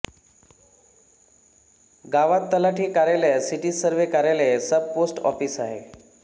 गावात तलाठी कार्यालय सिटी सर्वे कार्यालय सब पोस्ट ऑफिस आहे